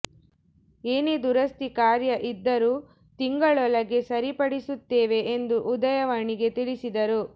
ಏನೇ ದುರಸ್ತಿ ಕಾರ್ಯ ಇದ್ದರೂ ತಿಂಗಳೊಳಗೆ ಸರಿಪಡಿಸುತ್ತೇವೆ ಎಂದು ಉದಯವಾಣಿಗೆ ತಿಳಿಸಿದರು